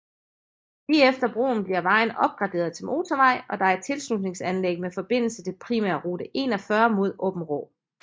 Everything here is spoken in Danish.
Lige efter broen bliver vejen opgraderet til motorvej og der er et tilslutningsanlæg med forbindelse til primærrute 41 mod Aabenraa